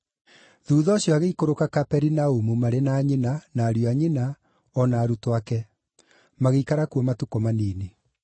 Thuutha ũcio agĩikũrũka Kaperinaumu, marĩ na nyina, na ariũ a nyina, o na arutwo ake. Magĩikara kuo matukũ manini.